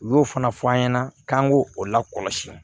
U y'o fana fɔ an ɲɛna k'an k'o la kɔlɔsi